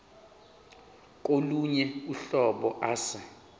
kolunye uhlobo ase